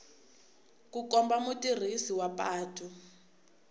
ku komba mutirhisi wa patu